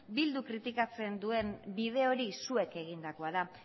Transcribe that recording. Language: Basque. bilduk kritikatzen duen bide hori zuek egindakoa da